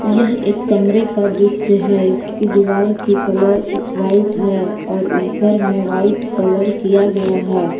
यह एक कमरे का दृश्य है इसकी दीवार का कलर व्हाईट है और ऊपर में व्हाईट कलर किया गया है।